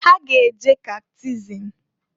Ha ga-eje catechism.